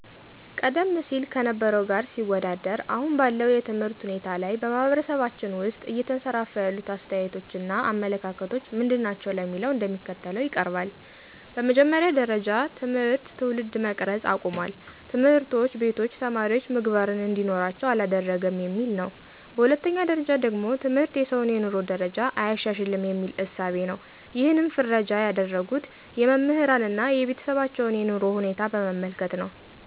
ቀደም ሲል ከነበረው ጋር ሲወዳደር አሁን ባለው የትምህርት ሁናቴ ላይ በማህበረሰባችን ውስጥ እየተንሰራፋ ያሉት አስተያየቶች እና አመለካከቶች ምንድናቸው ለሚለው እንደሚከተለው ይቀርባል፦ በመጀመሪያ ጀረጃ ትምህርት ትውልድ መቅረጽ አቁሟል፣ ትምህርቶች ቤቶች ተማሪወች ምግባርን እንዲኖራቸው አላደረገም የሚል ነው። በሁለተኛ ደረጃ ደግሞ ትምህርት የሰውን የኑሮ ደረጃ አያሻሽልም የሚል እሳቤ ነው ይሕንም ፍረጃ ያደረጉት የመምህራንን አና የቤተሰባቸውን የኑሮ ሁኔታ በመመልከት ነው።